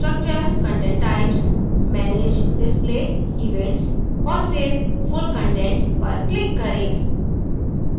structurecontent typesmanage display events और फिर full content पर click करें